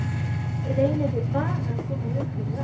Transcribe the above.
Reynið bara að koma í veg fyrir það.